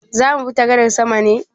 Zamu bi ta gadar sama ne?